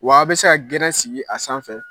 Wa aw bɛ se ka gɛrɛn sigi a sanfɛ